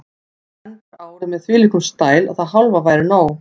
Þú endar árið með þvílíkum stæl að það hálfa væri nóg.